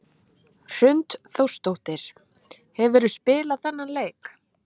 Hrund Þórsdóttir: Hefurðu spilað þennan leik?